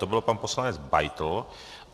To byl pan poslanec Beitl.